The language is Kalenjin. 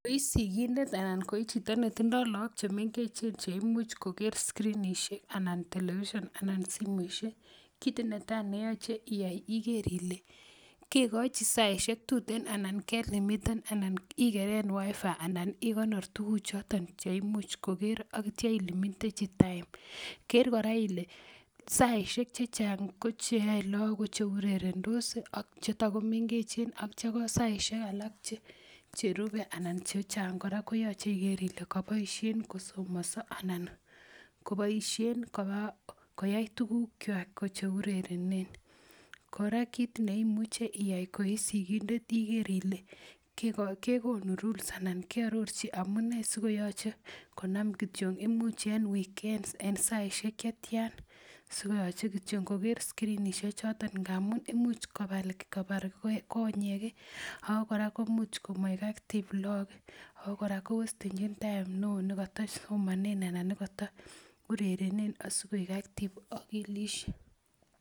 Koi sigindet ana ko ichito netindoo look chemengechen cheimuch koker scrinishek anan television anan simoisiek kit netaa neyoche iyai iker ile kekochi saisiek tuten anan kelimiten anan ikeren wireless fidelity anan ikeren tuguk choton cheimuch koker ak itya ilimitenji time ker kora ile saisiek chechang ko cheyoe look ko cheurerendos ak chetakomengechen ak itya ko saisiek alak cherube anan chechang kora koyoche iker ile koboisien kosomonso anan koboisien koyai tuguk kwak ko cheurerenen kora kit neimuche iyai koisigindet iker ile kekonu rules anan kearorchi amunee sikoyoche konam kityo imuch en weekends en saisiek chetyan sikoyoche kityo ngoker scrinishek choton ngamun imuch kobar konyek ako kora imuch komoik active look ih ako kora kowestenjin time neoo nekatosomonen anan nekato urerenen sikoik active akilisiek